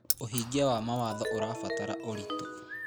ũhingia wa mawatho ũrabatara ũritũ.